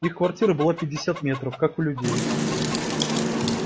их квартира была пятьдесят метров как у людей